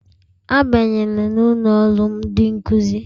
Abanyela n'ụlọ ọrụ ndị nkụzi!